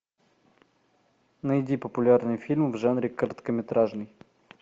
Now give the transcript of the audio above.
найди популярные фильмы в жанре короткометражный